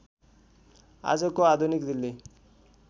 आजको आधुनिक दिल्ली